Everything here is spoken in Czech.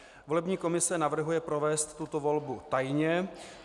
Volební komise navrhuje provést tuto volbu tajně.